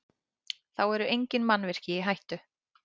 Þá eru engin mannvirki í hættu